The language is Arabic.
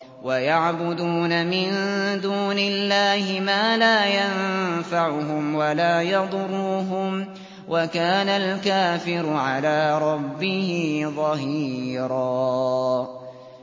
وَيَعْبُدُونَ مِن دُونِ اللَّهِ مَا لَا يَنفَعُهُمْ وَلَا يَضُرُّهُمْ ۗ وَكَانَ الْكَافِرُ عَلَىٰ رَبِّهِ ظَهِيرًا